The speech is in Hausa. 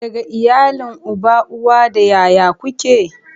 Daga iyalin uba, uwa da ƴaƴa ku ke?